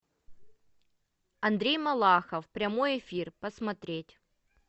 андрей малахов прямой эфир посмотреть